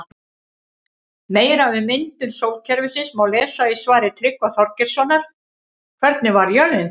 Meira um myndun sólkerfisins má lesa í svari Tryggva Þorgeirssonar Hvernig varð jörðin til?